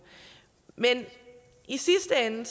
men i sidste ende